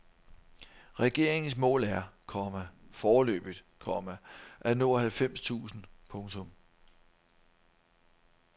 Regeringens mål er, komma foreløbigt, komma at nå halvfems tusind. punktum